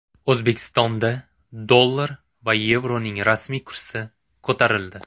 O‘zbekistonda dollar va yevroning rasmiy kursi ko‘tarildi.